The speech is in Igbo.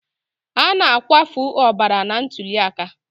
A na-akwafu ọbara na ntuli aka.